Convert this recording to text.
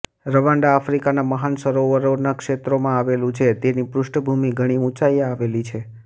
Rwanda આફ્રિકાના મહાન સરોવરોના ક્ષેત્રમાં આવેલું છે તેની પૃષ્ઠભૂમી ઘણી ઊંચાઈએ આવેલી છે